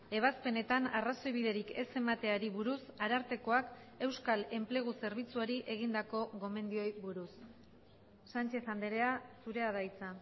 ebazpenetan arrazoibiderik ez emateari buruz arartekoak euskal enplegu zerbitzuari egindako gomendioei buruz sánchez andrea zurea da hitza